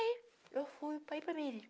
Aí, eu fui para Ipameri